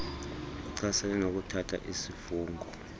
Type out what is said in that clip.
echasene nokuthatha isifungo